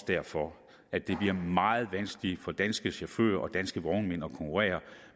derfor at det bliver meget vanskeligt for danske chauffører og danske vognmænd at konkurrere